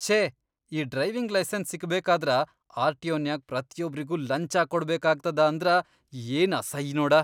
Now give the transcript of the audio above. ಛೇ ಈ driving licence ಸಿಗ್ಬೇಕಾದ್ರ ಆರ್.ಟಿ.ಒ.ನ್ಯಾಗ್ ಪ್ರತಿಯೊಬ್ರಿಗೂ ಲಂಚಾ ಕೊಡಬೇಕಾಗ್ತದ ಅಂದ್ರ ಏನ್ ಅಸೈ ನೋಡ.